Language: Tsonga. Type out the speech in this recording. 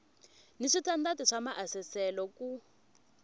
ni switandati swa maasesele ku